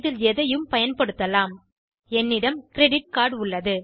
இதில் எதையும் பயன்படுத்தலாம் என்னிடம் கிரெடிட் கார்ட் உள்ளது